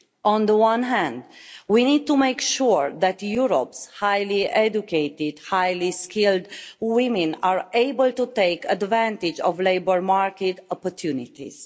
On the one hand, we need to make sure that Europe's highly educated, highly skilled women are able to take advantage of labour market opportunities.